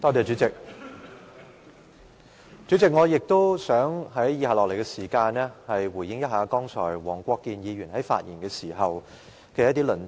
主席，在以下的時間，我想回應一下黃國健議員剛才發言的一些論點。